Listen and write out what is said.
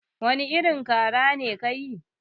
Wani irin kara ne ke yi?